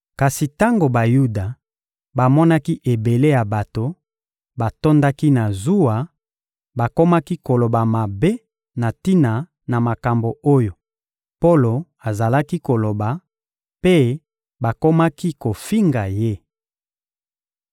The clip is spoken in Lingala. Kasi tango Bayuda bamonaki ebele ya bato, batondaki na zuwa; bakomaki koloba mabe na tina na makambo oyo Polo azalaki koloba, mpe bakomaki kofinga ye.